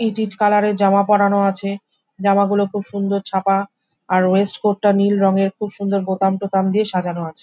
ইট ইট কালার এর জামা পড়ানো আছে। জামা গুলো খুব সুন্দর ছাপা। আর ওয়েস্ট কোট টা নীল রঙের খুব সুন্দর বোতাম টোতাম দিয়ে সাজানো আছে।